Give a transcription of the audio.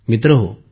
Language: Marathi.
मित्रहो